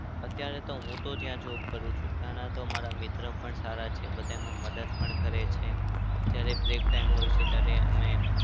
અત્યારે તો હું તો જ્યાં job કરું ત્યાંના તો મારા મિત્ર પણ સારા છે. બધામાં મદદ પણ કરે છે. જયારે break time હોય છે ત્યારે અમે